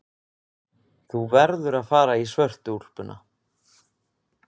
Þú verður að fara í svörtu úlpuna.